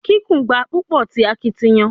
Kikun gba a pupo ti akitiyan